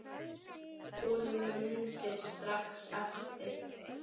Hún mundi strax eftir